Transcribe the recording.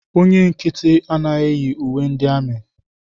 Onye nkịtị anaghị eyi uwe ndị amị.